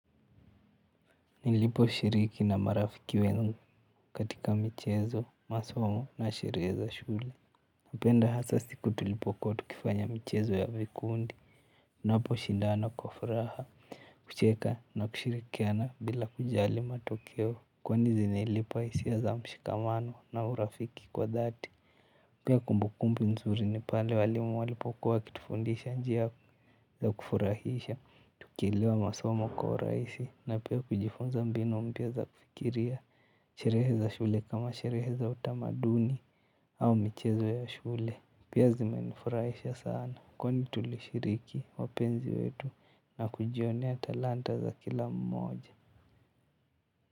Nilipo shiriki na marafiki wangu katika michezo, masomo na sherehe za shule. Napenda hasa siku tulipokuwa tukifanya michezo ya vikundi. Tunaposhindana kwa furaha, kucheka na kushirikiana bila kujali matokeo kwani zinilipa hisia za mshikamano na urafiki kwa dhati. Pia kumbukumbu nzuri ni pale walimu walipokuwa wakitufundisha njia za kufurahisha tukielewa masomo kwa urahisi na pia kujifunza mbinu mpya za kufikiria. Sherehe za shule kama sherehe za utamaduni au michezo ya shule pia zimenifurahisha sana kwani tulishiriki wapenzi wetu na kujionea talanta za kila mmoja.